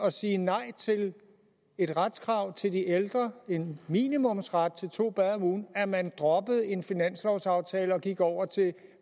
at sige nej til et retskrav til de ældre en minimumsret til to bade om ugen at man droppede en finanslovsaftale og gik over til